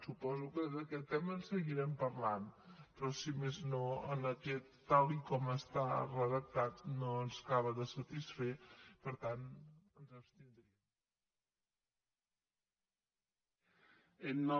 suposo que d’aquest tema en seguirem parlant però si més no tal com està redactat no ens acaba de satisfer per tant ens hi abstindrem